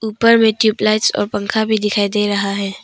ऊपर में ट्यूबलाइट्स और पंखा भी दिखाई दे रहा है।